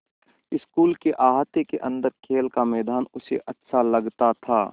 school के अहाते के अन्दर खेल का मैदान उसे अच्छा लगता था